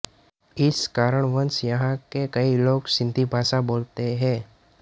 इस कारणवश यहाँ के कई लोग सिन्धी भाषा बोलते हैं